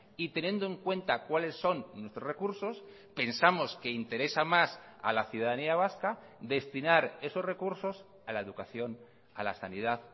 y teniendo en cuenta cuales son nuestros recursos pensamos que interesa más a la ciudadanía vasca destinar esos recursos a la educación a la sanidad